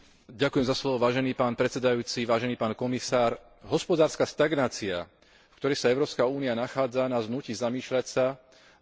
Hospodárska stagnácia, v ktorej sa Európska únia nachádza, nás núti zamýšľať sa nad vhodnými impulzmi pre obnovenie hospodárskeho rastu.